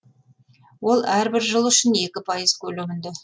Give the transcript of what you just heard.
ол әрбір жыл үшін екі пайыз көлемінде